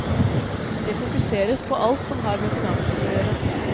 Det fokuseres på alt som har med finanser å gjøre.